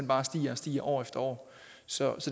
bare stiger og stiger år efter år så